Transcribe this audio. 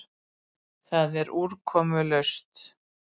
Það er úrkomulaust.